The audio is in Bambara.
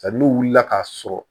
Hali n'u wulila k'a sɔrɔ